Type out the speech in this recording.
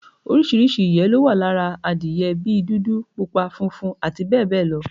Oríṣiríṣi ìyé ló wà lára adiye bí dúdú, pupa, funfun abbl